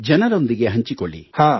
ಜನರೊಂದಿಗೆ ಹಂಚಿಕೊಳ್ಳಿ